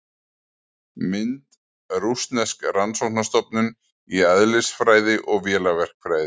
Mynd: Rússnesk rannsóknarstofnun í eðlisfræði og vélaverkfræði.